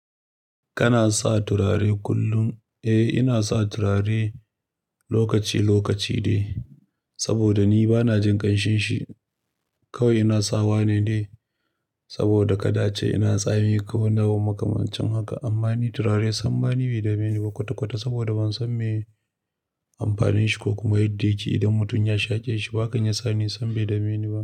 Kana sa turare kullum? Eh, ina sa turare lokaci-lokaci dai saboda ni bana jin ƙanshin shi. Kawai ina sawa ne dai saboda kada ace ina tsami ko wani abun makamancin haka. Amma ni turare sam ma ni bai dame ni ba kwata-kwata saboda ban san me ye amfanin shi ko kuma yadda yake idan mutum ya shaƙe shi. To hakan yasa ni sam bai dame ni ba.